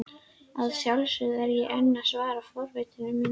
Að sjálfsögðu er ég enn að svala forvitni minni.